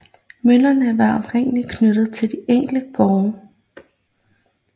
Møllerne var oprindelig knyttet til de enkelte gårde